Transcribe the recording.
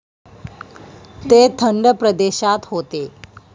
ते थंड प्रदेशात होते.